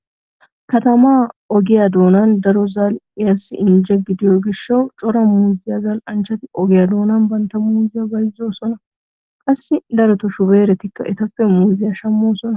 Katamaa ogiya doonay daro zal"iyaassi injje gidiyo gishshawu cora muuzziya zal"anchchati ogiya doonan bantta muuzziya bayzzoosona. Qassi darotoo shubeeretikka etappe muuzziya shammoosona.